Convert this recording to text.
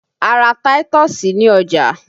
A ra táítọ̀sì ní ọjà